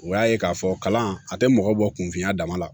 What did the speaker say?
U y'a ye k'a fɔ kalan a tɛ mɔgɔ bɔ kun filanan la